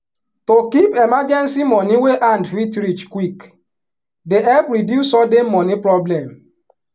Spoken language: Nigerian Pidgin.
to keep emergency money wey hand fit reach quick dey help reduce sudden money problem.